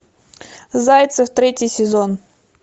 зайцев третий сезон